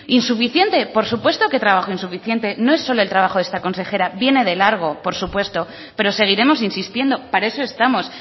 insuficiente por supuesto que trabajo insuficiente no es solo el trabajo de esta consejera viene de largo por supuesto pero seguiremos insistiendo para eso estamos